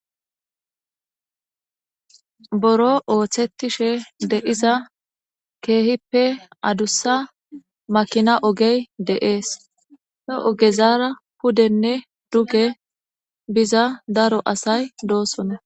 Buro oothishe diza kehippe adusa makina oge dee's he ogera pudenne duge bida dato asay dee's